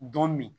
Don min